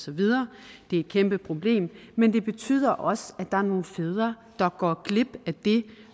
videre det er et kæmpeproblem men det betyder også at der er nogle fædre der går glip af det